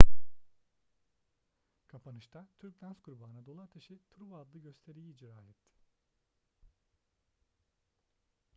kapanışta türk dans grubu anadolu ateşi truva adlı gösteriyi icra etti